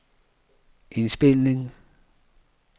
indspilning